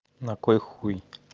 на какой хуй